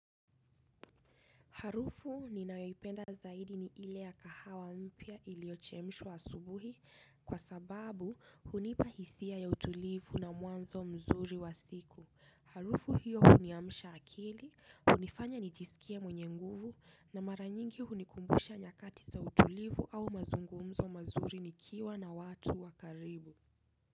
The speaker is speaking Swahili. Harufu ninayoipenda zaidi ni ile ya kahawa mpya iliyochemshwa asubuhi kwa sababu hunipa hisia ya utulivu na mwanzo mzuri wa siku. Harufu hiyo huniamsha akili, hunifanya nijisikie mwenye nguvu na mara nyingi hunikumbusha nyakati za utulivu au mazungumzo mazuri nikiwa na watu wa karibu.